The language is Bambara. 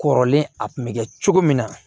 Kɔrɔlen a kun bɛ kɛ cogo min na